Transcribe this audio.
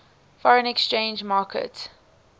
foreign exchange market